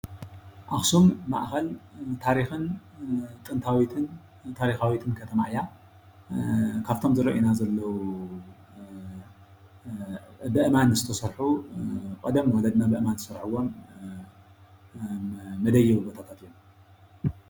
ኣክሱም ማእከል ታሪክን ጥንታዊትን ንታሪካዊትን ከተማ እያ፡፡ ካብቶም ዝረአዩና ዘለዉ በእማን ዝተሰርሑ ቀደም ወለድና በእማን ዝሰርሕዎም መደየቢ ቦታታት እዮም፡፡